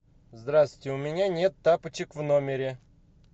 здравствуйте у меня нет тапочек в номере